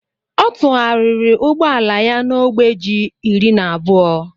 ọ tụgharịrị ụgbọ ala ya na ogbe ji iri na abụọ